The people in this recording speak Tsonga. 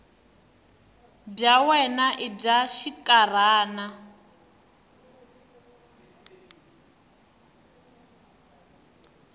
bya wena i bya xinkarhana